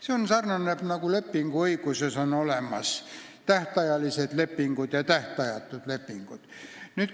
See sarnaneb lepinguõiguses olevate lepingute jaotusega tähtajalisteks ja tähtajatuteks.